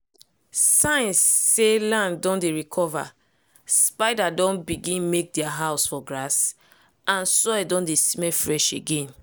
signs say land don dey recover: spider don begin make dia house for grass and soil don dey smell fresh again.